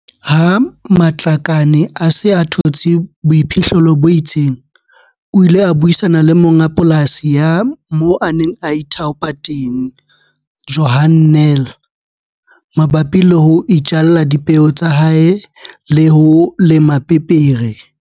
Ha Matlakane a se a thotse boiphihlelo bo itseng, o ile a buisana le monga polasi ya moo a neng a ithaopa teng, Johan Nel, mabapi le ho itjalla dipeo tsa hae le ho lema pepere.